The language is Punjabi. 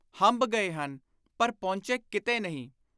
ਹੰਭ ਗਏ ਹਨ ਪਰ ਪਹੁੰਚੇ ਕਿਤੇ ਨਹੀਂ।